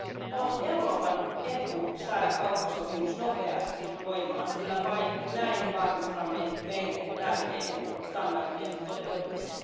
On Euroopan etu saada kauppasopimus nopeasti voimaan, sillä vain näin varmistamme meille tärkeiden standardien toteutumisen.